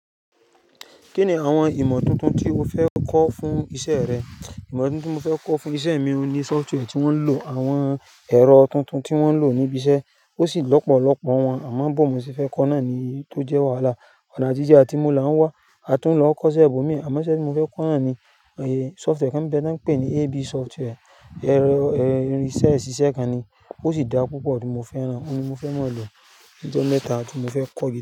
Kí ni àwọn ìmọ̀ tuntun tí o fẹ́ kọ́ fún ìṣe rẹ? Ìmọ̀ tuntun mo fẹ́ kọ́ fún ìṣe mi oun ni software tí wọ́n ń lò, àwọn ẹ̀rọ tuntun tí wọ́n ń lò níbi iṣẹ́, ó sì lọ́pọ̀lọ́pọ̀ wọn, àmọ́ bó mo ṣe fẹ́ kọ́ náà ni tó jẹ́ wàhálà. Ọ̀nà atije, atí mu la ń wá, a tún ń lọ kọ́ṣẹ́ ibó mi, àmọ́ iṣẹ́ tí mo fẹ́ kọ́ náà ni, èyí software kí n pẹ́, tí wọ́n ń pè ní AB software, ẹ̀rọ ìṣe iṣíṣe kan ni, ó sì dá púpọ̀ tí mo fẹ́rán, ó ni mo fẹ́ mọ̀ lo, ní ọjọ́ mẹ́ta tí mo fẹ́ kọ́ye.